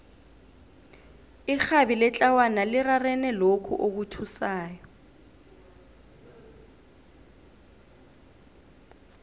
irhabi letlawana lirarene lokhu okuthusako